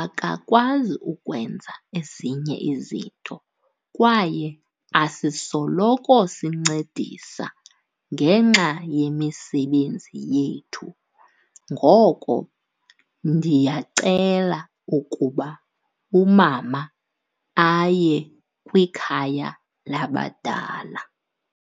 akakwazi ukwenza ezinye izinto kwaye asisoloko sincedisa ngenxa yemisebenzi yethu. Ngoko, ndiyacela ukuba umama aye kwikhaya labadala.